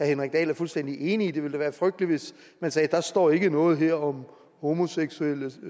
henrik dahl er fuldstændig enig i det ville da være frygteligt hvis man sagde der står ikke noget her om homoseksuelle